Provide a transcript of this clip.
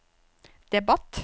debatt